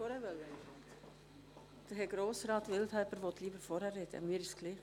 Grossrat Wildhaber, möchten Sie lieber vor der Regierungsrätin sprechen?